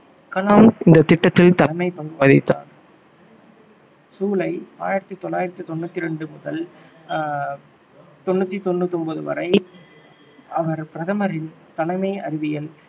கலாம் இந்த திட்டத்தில் தலைமை பங்கு வகித்தார் ஜூலை ஆயிரத்தி தொள்ளாயிரத்தி தொண்ணூற்றி இரண்டு முதல் ஆஹ் தொண்ணூற்றி தொண்ணூத்தொன்பது வரை அவர் பிரதமரின் தலைமை அறிவியல்